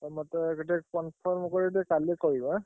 ଆଉ ମତେ ଟିକେ confirm କରି କାଲି କହିବ ଏଁ?